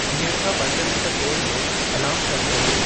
हींअर खां पंज मिंट पोइ जो अलार्मु सेटु कर्यो